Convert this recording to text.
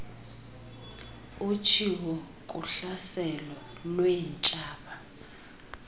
utshiwo kuhlaselo lweentshaba